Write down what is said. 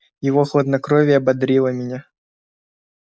его хладнокровие бодрило меня